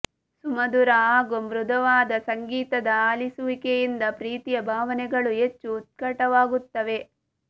ಸುಮಧುರ ಹಾಗೂ ಮೃದುವಾದ ಸಂಗೀತದ ಆಲಿಸುವಿಕೆಯಿಂದ ಪ್ರೀತಿಯ ಭಾವನೆಗಳು ಹೆಚ್ಚು ಉತ್ಕಟವಾಗುತ್ತವೆ